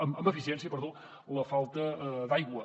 amb eficiència perdó la falta d’aigua